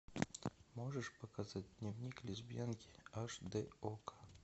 можешь показать дневник лесбиянки аш дэ окко